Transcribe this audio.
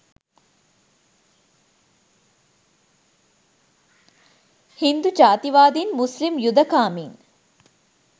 හින්දු ජාතිවාදීන් මුස්ලිම් යුධකාමීන්